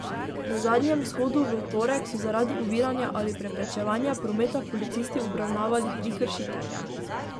Na zadnjem shodu v torek so zaradi oviranja ali preprečevanja prometa policisti obravnavali tri kršitelje.